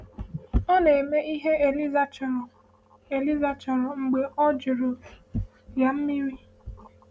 “Ọ na-eme ihe Eliezer chọrọ Eliezer chọrọ mgbe ọ jụrụ ya mmiri.”